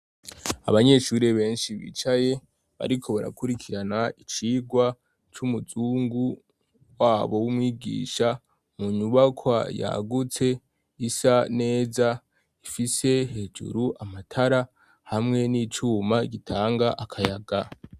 Abanyeshurire benshi bicaye bariko barakurikirana icirwa c'umuzungu wabo w'umwigisha mu nyubakwa yagutse isa neza ifise hejuru amatara hamwe n'icuma gitanga akayaga.